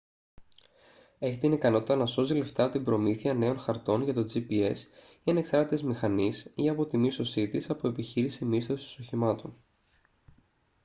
έχει την ικανότητα να σώζει λεφτά από την προμήθεια νέων χαρτών για το gps ή ανεξάρτητης μηχανής ή από τη μίσθωσή της από επιχείρηση μίσθωσης οχημάτων